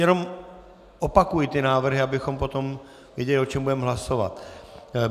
Jenom opakuji ty návrhy, abychom potom věděli, o čem budeme hlasovat.